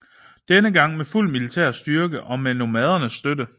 Denne gang med fuld militær styrke og med nomadernes støtte